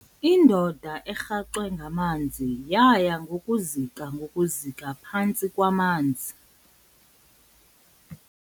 Indoda erhaxwe ngamanzi yaya ngokuzika ngokuzika phantsi kwamaza.